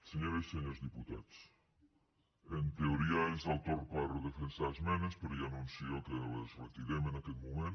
senyores i senyors diputats en teoria és el torn per defensar esmenes però ja anuncio que les retirem en aquest moment